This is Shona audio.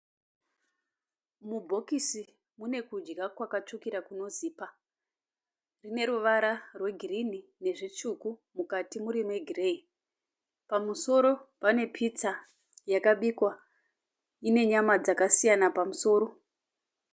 Mubhokisi mune kudya kwakatsvukira kunozipa. Rineruvara rwegirinhi nezvitsvuku mukati muri megireyi. Pamusoro pane pitsa yakabikwa ine nyama dzakasiyana pamusoro.